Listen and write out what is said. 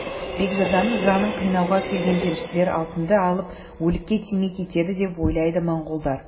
бекзаданың жанын қинауға келген періштелер алтынды алып өлікке тимей кетеді деп ойлайды монғолдар